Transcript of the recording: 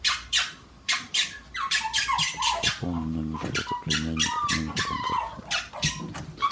пополни номер счета племянника номер в контактах